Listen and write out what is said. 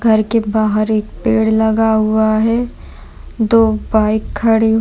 घर के बहार एक पेड़ लगा हुआ है। दो बाइक खड़ी --